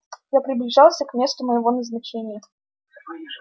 я приближался к месту моего назначения